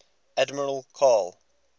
admiral karl